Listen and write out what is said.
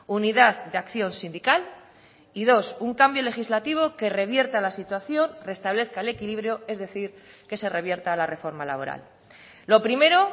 unidad de acción sindical y dos un cambio legislativo que revierta la situación restablezca el equilibrio es decir que se revierta la reforma laboral lo primero